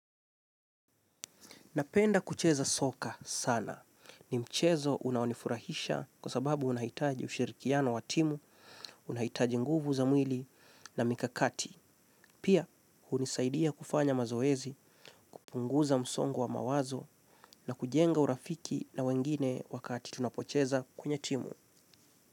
Napenda kucheza soka sana. Ni mchezo unaonifurahisha kwa sababu unahitaji ushirikiano wa timu, unahitaji nguvu za mwili na mikakati. Pia, hunisaidia kufanya mazoezi, kupunguza msongo wa mawazo na kujenga urafiki na wengine wakati tunapocheza kwenye timu.